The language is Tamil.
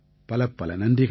பலப்பல நன்றிகள்